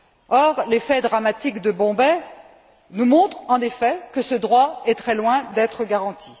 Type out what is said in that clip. Or, les faits dramatiques de Bombay nous montrent, en effet, que ce droit est très loin d'être garanti.